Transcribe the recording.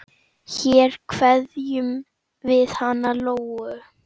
Hér kveðjum við hana Lóu.